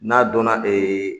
N'a donna ee